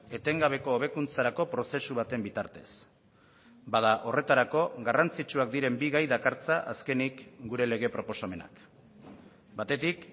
etengabeko hobekuntzarako prozesu baten bitartez bada horretarako garrantzitsuak diren bi gai dakartza azkenik gure lege proposamenak batetik